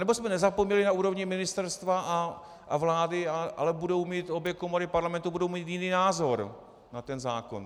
Anebo jsme nezapomněli na úrovni ministerstva a vlády, ale obě komory Parlamentu budou mít jiný názor na ten zákon.